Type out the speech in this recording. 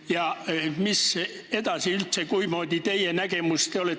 Ja mis üldse edasi saab, milline on teie nägemus?